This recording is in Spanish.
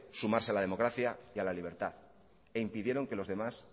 sumarse a la democracia y la libertad e impidieron que los demás